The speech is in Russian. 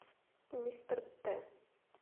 мистер т